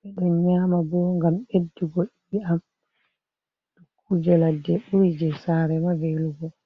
ɓe ɗon nyama bo ngam ɓeddugo e'am dukkuje ladde ɓuri je sare ma velugo.